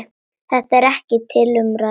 Þetta er ekki til umræðu.